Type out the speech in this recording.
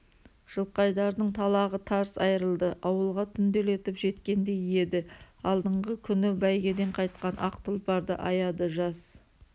жылқайдардың талағы тарс айырылды ауылға түнделетіп жеткендей еді алдыңғы күні бәйгеден қайтқан ақ тұлпарды аяды жас